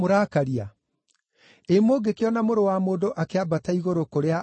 Ĩ mũngĩkĩona Mũrũ wa Mũndũ akĩambata igũrũ kũrĩa aarĩ mbere!